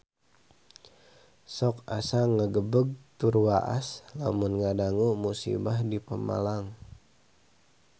Sok asa ngagebeg tur waas lamun ngadangu musibah di Pemalang